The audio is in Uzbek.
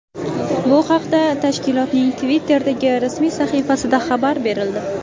Bu haqda tashkilotning Twitter’dagi rasmiy sahifasida xabar berildi .